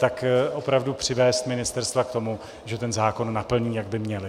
Tak opravdu přivést ministerstva k tomu, že ten zákon naplní, jak by měla.